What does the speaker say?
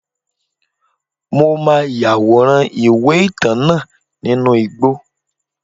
Mo ma yaworan iwe-itan náá ninú igbó